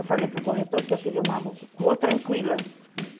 Eu falei para o corretor que eu queria uma rua tranquila.